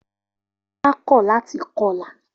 Ola kọ lati kọla.